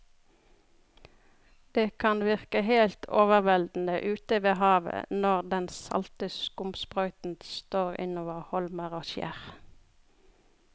Det kan virke helt overveldende ute ved havet når den salte skumsprøyten slår innover holmer og skjær.